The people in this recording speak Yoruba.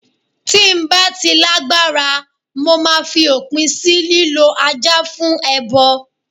Tí ń bá ti lágbára, mo máa fi òpin sì lílọ Ajá fún ẹbọ.